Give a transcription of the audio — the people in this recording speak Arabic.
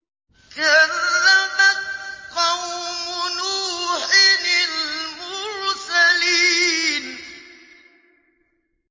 كَذَّبَتْ قَوْمُ نُوحٍ الْمُرْسَلِينَ